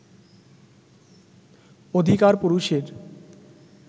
অধিকার পুরুষের